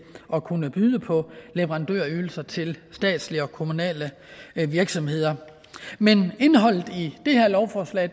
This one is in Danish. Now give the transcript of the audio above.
at kunne byde på ydelser til statslige og kommunale virksomheder men indholdet i det her lovforslag